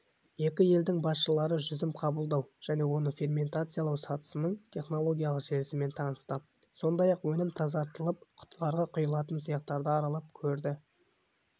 екі елдің басшылары жүзім қабылдау және оны ферментациялау сатысының технологиялық желісімен танысты сондай-ақ өнім тазартылып құтыларға құйылатын цехтарды аралап көрді